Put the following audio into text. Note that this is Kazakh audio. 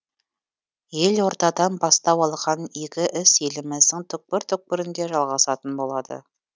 елордадан бастау алған игі іс еліміздің түкпір түкпірінде жалғасатын болады